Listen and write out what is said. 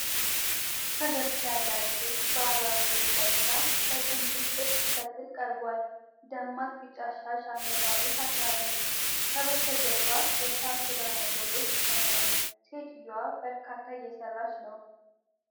ፈገግታ ያላት ሴት ባህላዊ ልብስ ለብሳ፣ በጥምዘዛ ጥጥ ስትፈትል ቀርቧል። ደማቅ ቢጫ ሻሽ አንገቷ ላይ ታስራለች። ከበስተጀርባ የሳር ክዳን ያለው ቤት ይታያል። ሴትየዋ በእርካታ እየሰራች ነው።